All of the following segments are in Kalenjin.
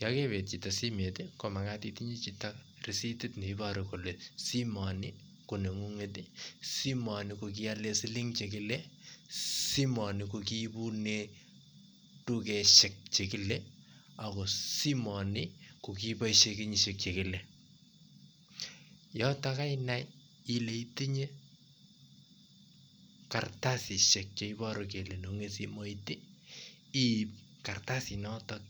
Yon kebeet chito simeet konmagat itinye chito risitit neiboru kole simoni ko nengunget, simoni ko kiolen siling' chekile, simoni kokiibune tugosiek chekile ako simoni ko kiiboisyen kenyisiek chekile, yotok kainai ile itinye kartasisiek cheiboru kole neng'ung'et simoit iib kartasit noton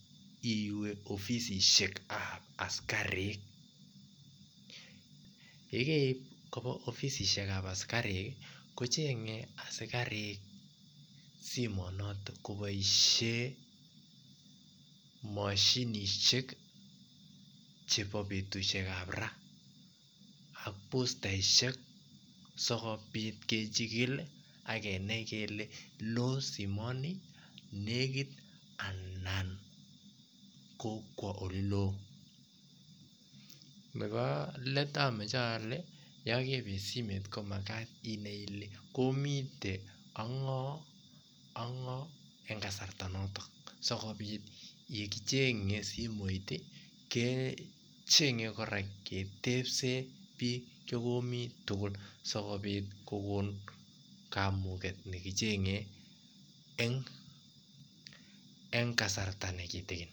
iwe ofisisiet ak askarik, yekeriib koba ofisisiek ab askarik kocheng'e askarik simonoton koboisien moshinisiek chebo betusiek ab raa ak bostaisiek sikoit kechigil ak kenai kele loo simoni, nekiit anan kokwa oleloo, nebo leet amoje ole yon kebeet simeet ko magat kinai ile komiten ak ng'o en kasarta noton sikobit yekichenye simoit kechenye kora ketebsen biik chekomi tugul sikobit kogon kamuget nekichenge en kasarta nekitigin.